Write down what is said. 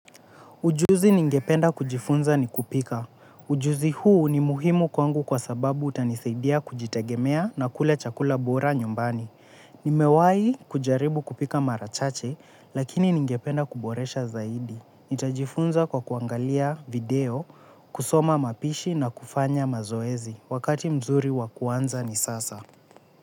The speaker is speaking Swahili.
Ujuzi ningependa kujifunza ni kupika. Ujuzi huu ni muhimu kwangu kwa sababu utanisaidia kujitegemea na kula chakula bora nyumbani. Nimewai kujaribu kupika marachache lakini ningependa kuboresha zaidi. Nitajifunza kwa kuangalia video, kusoma mapishi na kufanya mazoezi. Wakati mzuri wakuanza ni sasa.